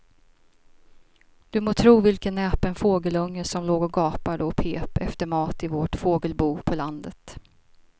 Du må tro vilken näpen fågelunge som låg och gapade och pep efter mat i vårt fågelbo på landet.